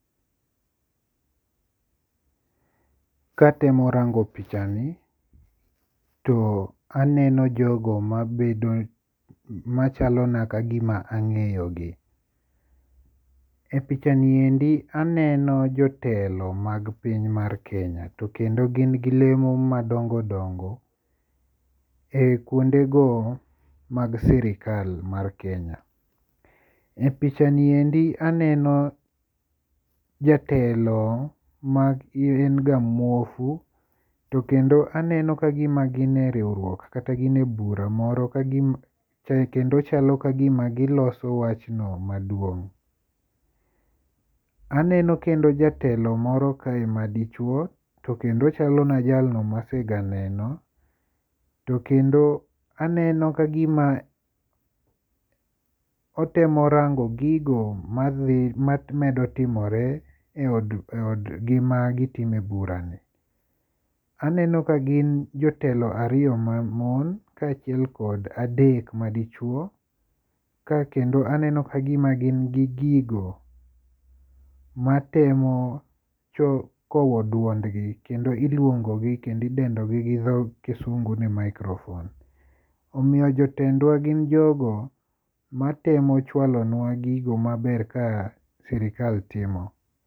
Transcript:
Katemo rango pichani to aneno jogo mabedo machalo na kagima ang'eyo gi. E pichani endi aneno jotelo mag piny mar Kenya. To kendo gin gi lemo madongo dongo e kuondego mag sirkal mar Kenya. E pichani endi aneno jatelo ma en ga muofu to kendo aneno ka gima gin e riwruok kata gin e bura moro kagima kendo chalo kagima giloso wach no maduong'. Aneno kendo jatelo moro kae madichuo to kendo ochalo na jalno masega neno. To kendo aneno ka gima otemo rango gigo madhi mamedo timore e od gi magitime bura ni. Aneno ka gin jotelo ariyo ma mon ka achiel kod adek madichuo. Ka kendo aneno ka gima gin gi gigo matemo kowo duond gi kendo iluongo gi kendo idendo gi gi dho kisungu ni microphone. Omiyo jotendwa gin jogo matemo chwalonwa gigi maber ka sirkal timo.